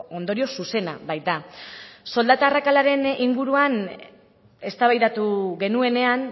ondorio zuzena baita soldata arrakalaren inguruan eztabaidatu genuenean